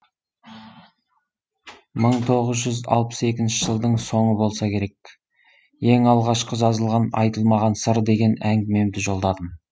мың тоғыз жүз алпыс екінші жылдың соңы болса керек ең алғашқы жазылған айтылмаған сыр деген әңгімемді жолдадым